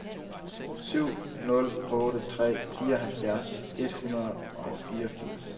syv nul otte tre fireoghalvfjerds et hundrede og fireogfirs